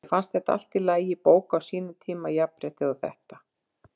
Mér fannst þetta allt í lagi bók á sínum tíma- jafnréttið og þetta.